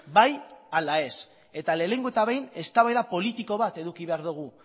bai ala ez eta lehenengo eta behin eztabaida politiko bat eduki behar dugu